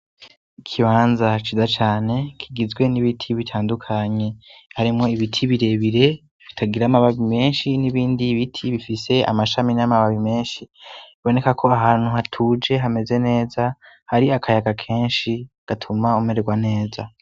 ikibanza ciza cane kigizwe n'ibiti bitandukanye harimwo ibiti birebire bitagira amababi menshi n'ibindi biti bifise amashami n'amababi menshi boneka ko ahantu hatuje hameze neza hari akayaga kenshi gatuma umeregwa neza